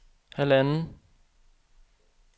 halvanden